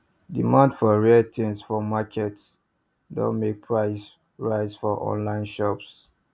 demand for rare things for market don make prices rise for online shops